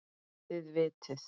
Þið vitið.